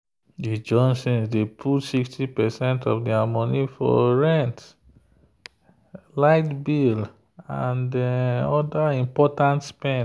the johnsons dey put 60 percent of their money for rent light bill and other important spend.